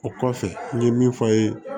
O kɔfɛ n ye min fɔ ye